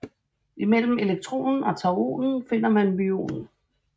Imellem elektronen og tauonen finder man myonen